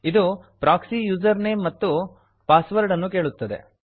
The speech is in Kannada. ಇದು ಪ್ರಾಕ್ಸಿ ಯೂಸರ್ ನೇಮ್ ಮತ್ತು ಪಾಸ್ ವರ್ಡ್ ಅನ್ನು ಕೇಳುತ್ತದೆ